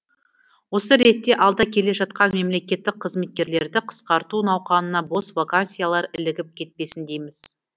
осы ретте алда келе жатқан мемлекеттік қызметкерлерді қысқарту науқанына бос вакансиялар ілігіп кетпесін дейміз